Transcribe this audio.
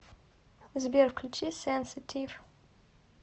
сбер включи сенситив